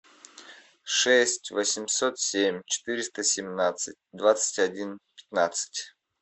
шесть восемьсот семь четыреста семнадцать двадцать один пятнадцать